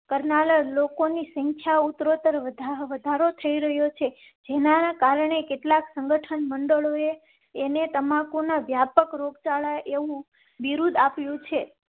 કરનારા લોકો ની સંખ્યા ઉત્તરોતર વધારો થઈ રહ્યો છે. જેના કારણે કેટલાક સંગઠન મંડળોએ તેને તમાકુ ના વ્યાપક રોગચાળા એક વિરોધ આપ્યું છે.